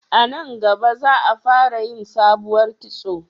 A nan gaba za a fara yin sabuwar kitso